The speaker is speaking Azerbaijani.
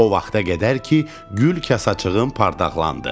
O vaxta qədər ki, gül kasaçığım parlaxlandı.